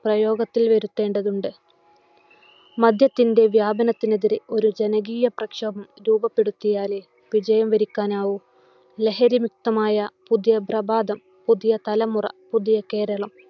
പ്രയോഗത്തിൽ വരുത്തേണ്ടതുണ്ട്. മദ്യത്തിൻറെ വ്യാപനത്തിനെതിരെ ഒരു ജനകീയ പ്രക്ഷോഭം രൂപപ്പെടുത്തിയാലേ വിജയം വരിക്കാനാവു. ലഹരി മുക്തമായ പുതിയ പ്രഭാതം, പുതിയ തലമുറ, പുതിയ കേരളം